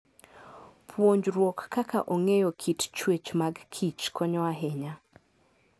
Puonjruok kaka ong'eyo kit chwech mag kichkonyo ahinya.